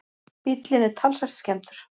Bíllinn er talsvert skemmdur